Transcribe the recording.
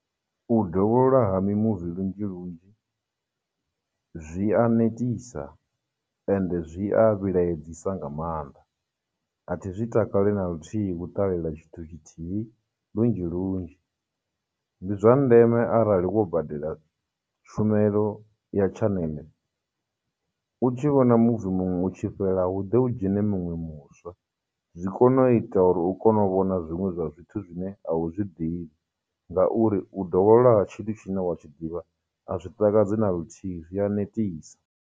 U dovholola ha mimuvi lunzhi lunzhi, zwi a netisa ende zwi a vhilaedzisa nga maanḓa, athi zwi takale na luthihi u ṱalela tshithu tshithihi lunzhi lunzhi. Ndi zwa ndeme arali wo badela tshumelo ya channel, u tshi vhona movie muṅwe u tshi fhela hu ḓe hu dzhene miṅwe muswa, zwi kone u ita uri u kone u vhona zwiṅwe zwa zwithu zwine a u zwi ḓivhi, ngauri u dovholola ha tshithu tshine wa tshi ḓivha a zwi takadzi na luthihi, zwi ya netisa.